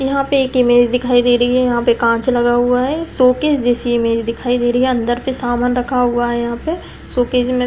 यहाँ पे एक इमेज दिखाई दे रही है। यहाँ पे कांच लगा हुआ है। शोकेस जैसी इमेज दिखाई दे रही है। अंदर पे सामान रखा हुआ है यहाँ पे। शोकेस में --